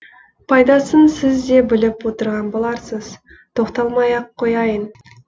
пайдасын сіз де біліп отырған боларсыз тоқталмай ақ қояйын